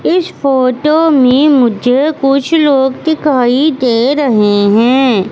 इस फोटो में मुझे कुछ लोग दिखाई दे रहे हैं।